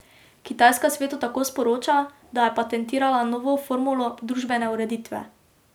Kitajska svetu tako sporoča, da je patentirala novo formulo družbene ureditve.